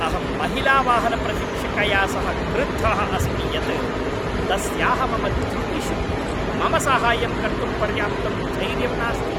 अहं महिलावाहनप्रशिक्षिकया सह क्रुद्धः अस्मि यत् तस्याः मम त्रुटिषु मम साहाय्यं कर्तुं पर्याप्तं धैर्यं नास्ति।